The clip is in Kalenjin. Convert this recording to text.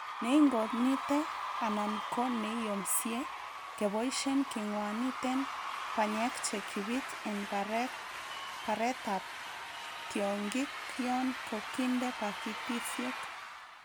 Neingonite anan ko neiyomsie keboishen kingwaniten banyek che kibit en baret ab tiongik yon ka kinde pakitisiek.